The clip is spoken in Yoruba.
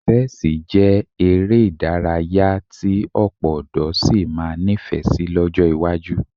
Ṣẹ́ẹ̀sì jẹ́ eré ìdárayá tí ọ̀pọ̀ ọ̀dọ́ sì máa nífẹ̀ẹ́ sí lọ́jọ́ iwájú